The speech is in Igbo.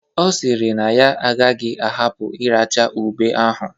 Ọ sịrị na ya agaghị ahapụ iracha ube ahụ.